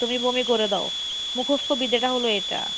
তুমি বমি করে দাও মুখস্ত বিদ্যা টা হলো এটা।